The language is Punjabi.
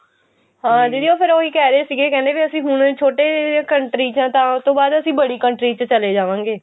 ਹਾਂ ਦੀਦੀ ਉਹ ਫੇਰ ਉਹੀ ਕਿਹ ਰਹੇ ਸੀਗੇ ਕਹਿੰਦੇ ਅਸੀਂ ਹੁਣ ਛੋਟੇ country ਚ ਆਂ ਤਾਂ ਉਹਤੋਂ ਬਾਅਦ ਅਸੀਂ ਬੜੀ country ਚ ਚਲੇ ਜਾਵਾਂਗੇ